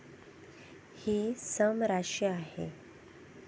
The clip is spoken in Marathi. हि सम राशी आहे.